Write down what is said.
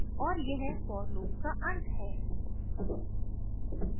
और यह for loop का अंत है